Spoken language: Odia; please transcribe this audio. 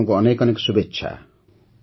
ଆପଣଙ୍କୁ ଅନେକ ଅନେକ ଶୁଭେଚ୍ଛା